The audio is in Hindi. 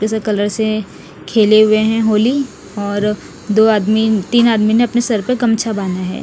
इस कलर से खेले हुए है होली और दो आदमी तिन आदमी ने अपने सर पर गमछा बाँदा है।